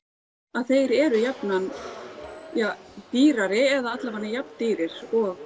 að þeir eru jafnan ja dýrari eða allavega jafn dýrir og